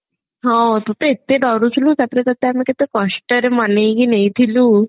ହଁ ତୁ ତ ଏତେ ଡରୁଥିଲୁ ତାପରେ ତତେ ଆମେ କେତେ କଷ୍ଟରେ ମନେଇକି ନେଇଥିଲୁ